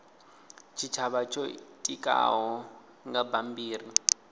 tshitshavha tsho itikaho nga bammbiri